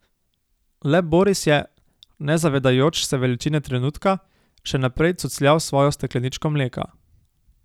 Le Boris je, ne zavedajoč se veličine trenutka, še naprej cucljal svojo stekleničko mleka.